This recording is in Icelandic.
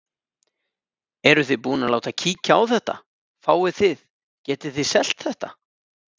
Eruð þið búin að láta kíkja á þetta, fáið þið, getið þið selt þetta?